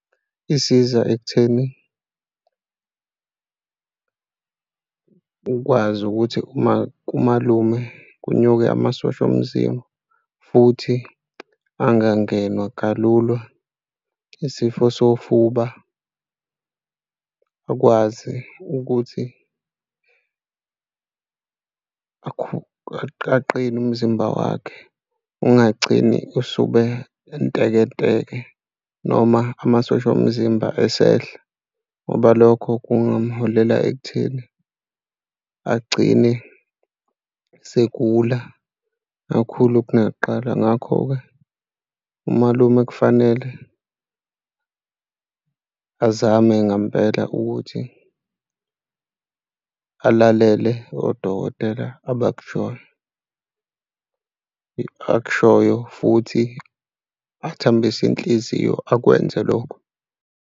Isiza ekutheni ukwazi ukuthi uma kumalume kunyuke amasosha omzimba futhi angangenwa kalula isifo sofuba akwazi ukuthi aqine umzimba wakhe. Ungagcini usube entekenteke noma amasosha omzimba esehla ngoba lokho kungamholela ekutheni agcine segula kakhulu kunakuqala. Ngakho-ke umalume kufanele azame ngampela ukuthi alalele odokotela abakushoyo akushoyo futhi athambise inhliziyo, akwenze lokho.